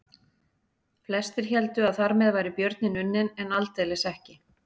Flestir héldu að þar með væri björninn unninn en aldeilis ekki.